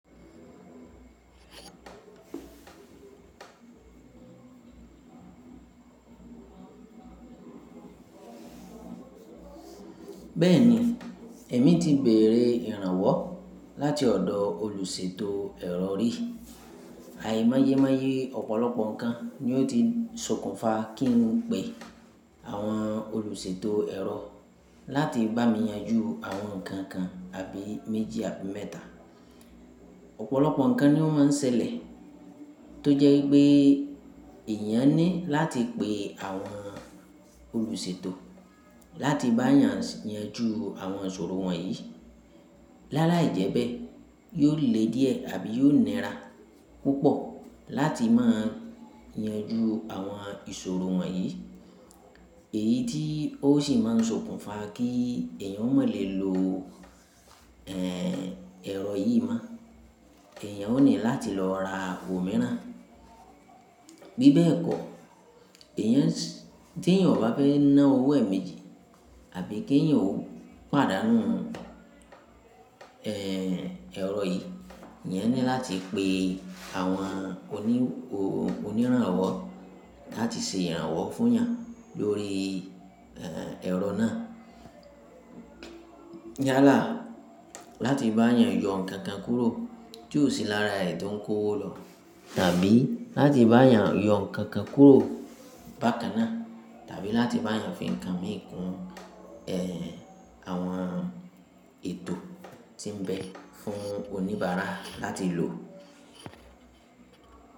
Bẹ́ẹ̀ni, èmi ti bèèrè ìrànwọ́ láti ọ̀dọ̀ olùṣètò ẹ̀rọ ri. Àì máyémáyé ọ̀pọ̀lọpọ̀ nǹkan ni ó ti sokùnfà kí n pe àwọn olùṣètò ẹ̀rọ láti bá mi yanjú àwọn nǹkan kan àbí méjì àbí mẹ́ta. Ọ̀pọ̀lọpọ̀ nǹkan ni o ma ń ṣẹlẹ̀ tó jẹ́ pé èyàn ní láti pe àwọn olùṣètò láti bá yàn yanjú àwọn ìṣòro wọ̀nyí. Láàlá ìjẹ́bẹ́ yóò le díẹ̀ àbí yóò nira púpọ̀ láti máa yanjú àwọn ìṣòro wọ̀nyí. Èyí tí ó sì máa ń sokùnfà kí èyàn ó má lè lo, eeh, ẹ̀rọ yìí má. Èyàn ó ní láti lọ ra òmíràn. Bí bẹ́ẹ̀ kọ́, èyàn tí èyàn ò bá fẹ́ ná owó ẹ̀ méjì àbí kí èyàn ó pàdánù, eeh, ẹ̀rọ yìí, eyan ní láti pe àwọn oníranwọ́ láti ṣe ìrànwọ́ fún yàn lórí, eeh, ẹ̀rọ náà. Yálà láti bá yàn yọ nǹkan kan kúrò tó sì lára ẹ̀ tó ń kó owó lọ tàbí láti bá yàn yọ nǹkan kan kúrò bákan náà tàbí láti bá yàn fi nǹkan mìíràn kun, eeh, àwọn ètò tí ń bẹ fún oníbàárà láti lò.